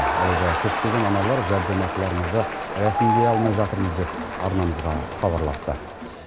алайда көптеген аналар жәрдемақыларымызды рәсімдей алмай жатырмыз деп арнамызға хабарласты